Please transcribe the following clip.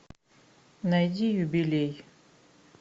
найди юбилей